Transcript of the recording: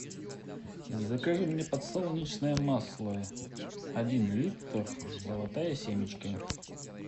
закажи мне подсолнечное масло один литр золотая семечка